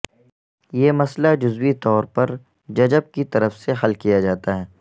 یہ مسئلہ جزوی طور پر ججب کی طرف سے حل کیا جاتا ہے